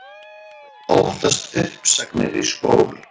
Óttast uppsagnir í skólum